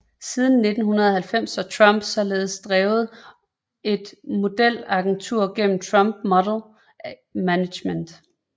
Siden 1999 har Trump således drevet et modelagentur gennem Trump Model Management